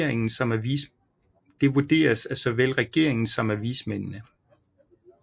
Det vurderes af såvel regeringen som af vismændene